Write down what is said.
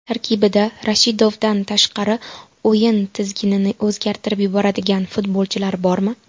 Tarkibda Rashidovdan tashqari o‘yin tizginini o‘zgartirib yuboradigan futbolchilar bormi?